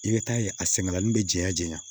I bɛ taa ye a sɛgɛnin bɛ janya jɛya